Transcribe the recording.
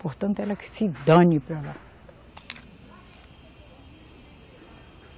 Portanto, ela que se dane para lá.